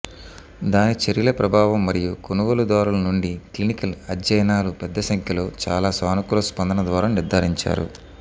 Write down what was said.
దాని చర్యల ప్రభావం మరియు కొనుగోలుదారులు నుండి క్లినికల్ అధ్యయనాలు పెద్ద సంఖ్యలో చాలా సానుకూల స్పందన ద్వారా నిర్ధారించారు